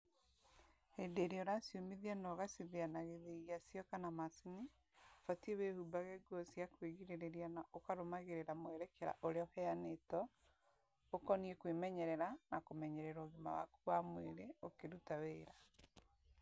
Hindi iria uraciumithia na ugacithia na githii gia cio kana macini, ubatii wĩhumbage nguo cia kwĩgirĩrĩria na ũkarũmagĩrĩra mwerekera ũrĩa ũheanĩtwo ũkoniĩ kwĩmenyerera na kũmenyerera ũgima waku wa mwĩrĩ ũkĩruta wĩra.